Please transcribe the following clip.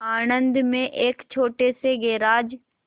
आणंद में एक छोटे से गैराज